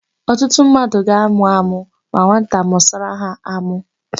Ọtụtụ mmadụ ga-àmụ́ ámụ́ ma nwata mụsara ha ámụ́.